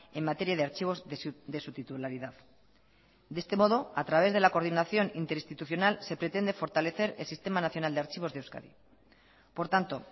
en materia de archivos de su titularidad de este modo a través de la coordinación interinstitucional se pretende fortalecer el sistema nacional de archivos de euskadi por tanto